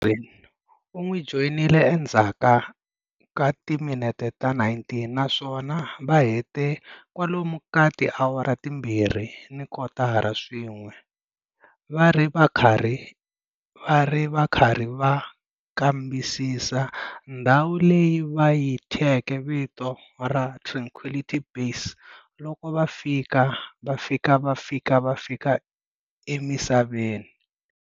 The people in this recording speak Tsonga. Aldrin u n'wi joyinile endzhaku ka timinete ta 19, naswona va hete kwalomu ka tiawara timbirhi ni kotara swin'we va ri va karhi va kambisisa ndhawu leyi va yi thyeke vito ra Tranquility Base loko va fika va fika va fika va fika emisaveni.